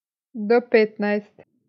Do petnajst.